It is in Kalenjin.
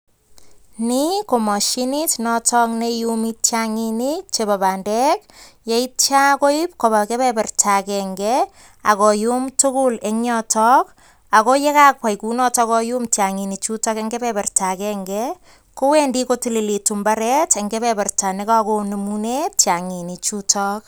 Ni ko mashinit notok neiumi tiang'inik chebo bandek, yeitio koib koba kebeberta agenge agoyum tugul eng yoto. Ago ye kakwai kunotok koyum tiang'inik chuto eng kebeberta agenge, kowendi kotilitu mbaret eng kebeberta ne kagonemune tiang'ini chutok.